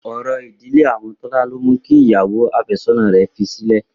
Orò ìdílé àwọn Tọ́lá ló mu kí ìyàwó àfẹ́sọ́nà rẹ̀ fi sílẹ̀.